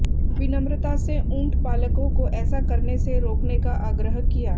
विनम्रता से ऊंट पालकों को ऐसा करने से रोकने का आग्रह किया